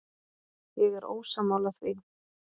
Ég er ósammála því.